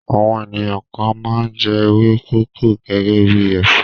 Àwọn ènìyàn kan máa ń jẹ ewé kókò gẹ́gẹ́ bí ẹ̀fọ́.